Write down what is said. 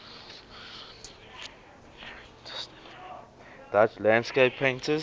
dutch landscape painters